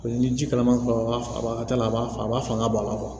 Ni ji kalaman t'a la a b'a a b'a fanga bɔ a la